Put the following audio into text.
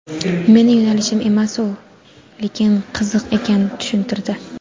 meni yo‘nalishim emas-u lekin qiziq ekan, tushuntirdi.